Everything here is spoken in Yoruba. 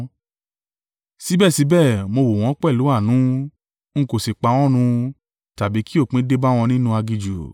Síbẹ̀síbẹ̀ mo wò wọ́n pẹ̀lú àánú, ń kò sì pa wọ́n run tàbí kí òpin dé bá wọn nínú aginjù.